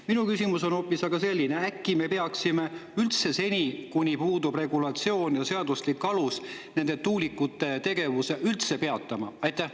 Minu küsimus on aga hoopis selline: äkki me peaksime seni, kuni puudub regulatsioon ja seaduslik alus, tuulikute tegevuse üldse peatama?